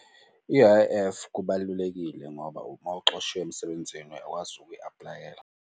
I-U_I_F kubalulekile ngoba uma uxoshiwe emsebenzini uyakwazi ukuyi-aplayela.